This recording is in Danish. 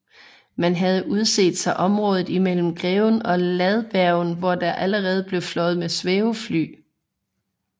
Man havde udset sig området imellem Greven og Ladbergen hvor der allerede blev fløjet med svævefly